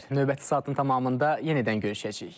Növbəti saatın tamamında yenidən görüşəcəik.